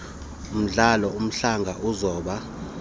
mdlalo umdlanga uzoba